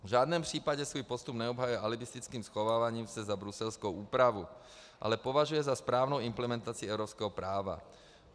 V žádném případě svůj postup neobhajuje alibistickým schováváním se za bruselskou úpravu, ale považuje za správnou implementaci evropského práva.